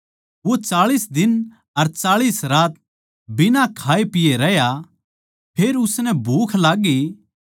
वो चाळीस दिन अर चाळीस रात बिना खाए पिए रह्या फेर उसनै भूख लाग्गी